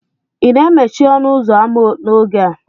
ị na-emechi ọnụ ụzọ ámá n'oge a?